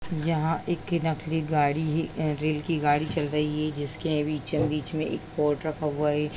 यहाँ एक नकली गाड़ी ही अ रेल की गाड़ी चल रही है जिसके बीचों-बीच में एक पॉट रखा हुआ है।